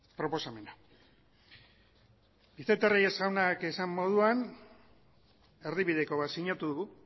proposamena vicente reyes jaunak esan moduan erdibideko bat sinatu dugu